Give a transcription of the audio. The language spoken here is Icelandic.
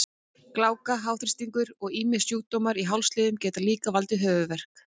Gláka, háþrýstingur og ýmsir sjúkdómar í hálsliðum geta líka valdið höfuðverk.